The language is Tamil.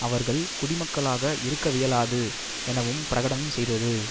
அவர்கள் குடிமக்களாக இருக்கவியலாது எனவும் பிரகடனம் செய்தது